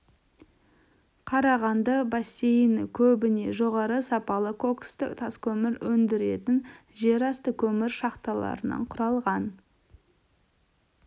қарағанды бассейні көбіне жоғары сапалы коксті таскөмір өндіретін жерасты көмір шахталарынан құралған